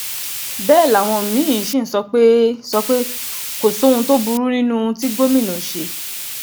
bẹ́ẹ̀ làwọn mí-ín sì ń sọ pé sọ pé kò sóhun tó burú nínú ohun tí gómìnà ṣe